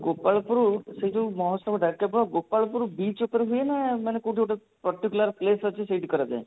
ଗୋପାଳପୁର ସେଇ ଯଉ ମହୋତ୍ସବ ଗୋପାଳପୁର beach ଉପରେ ହୁଏ ନା ମାନେ କଉଠି ଗୋଟେ particular place ଅଛି ସେଇଠି କରାଯାଏ